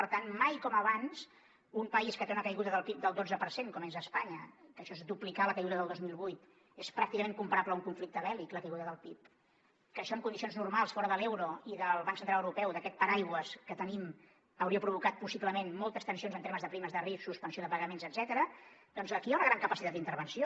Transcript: per tant mai com abans un país que té una caiguda del pib del dotze per cent com és espanya que això és duplicar la caiguda del dos mil vuit és pràcticament comparable a un conflicte bèl·lic la caiguda del pib que això en condicions normals fora de l’euro i del banc central europeu d’aquest paraigua que tenim hauria provocat possiblement moltes tensions en termes de primes de risc suspensió de pagaments etcètera doncs aquí hi ha una gran capacitat d’intervenció